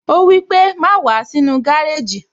Ó wípé, "Má wàá sínú gárèjì